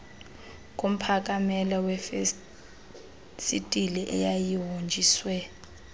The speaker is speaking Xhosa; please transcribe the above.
ngomphakamela wefesitile eyayihonjiswe